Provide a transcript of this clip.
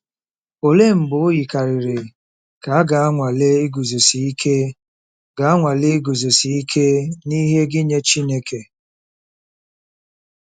Olee mgbe o yikarịrị ka a ga-anwale iguzosi ike ga-anwale iguzosi ike n'ihe gị nye Chineke?